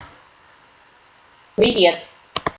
привет